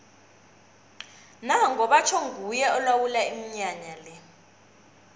nango batjho nguye olawula iminyanya le